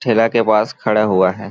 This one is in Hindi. छेला के पास खड़ा हुआ है।